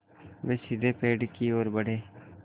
वे सीधे पेड़ की ओर बढ़े